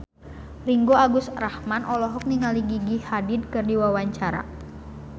Ringgo Agus Rahman olohok ningali Gigi Hadid keur diwawancara